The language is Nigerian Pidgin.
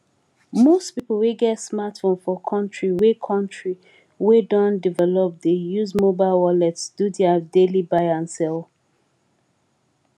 most pipo wey get smartphone for country wey country wey don develop dey use mobile wallet do their daily buy and sell